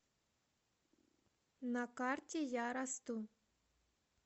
на карте я расту